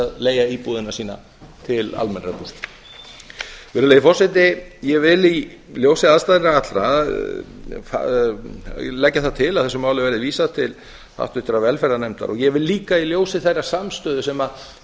að leigja íbúðina sína til almennrar búsetu virðulegi forseti ég vil í ljósi aðstæðna allra leggja það til að þessu máli verði vísað til háttvirtrar velferðarnefndar og ég vil líka í ljósi þeirrar samstöðu sem